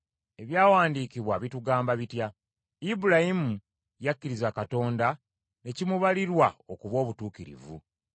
Ebyawandiikibwa bitugamba bitya? Ibulayimu yakkiriza Katonda ne kimubalirwa okuba obutuukirivu.